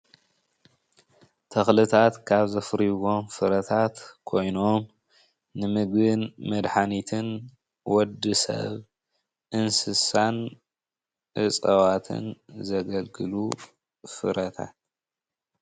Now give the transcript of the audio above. ተክልታት ካብ ዘፍርይዎም ፍረታት ኮይኖም ንምግብን መድሓኒትን ወዲ ሰብ፣ እንስሳን እፅዋትን ዘገልግሉ ፍረታት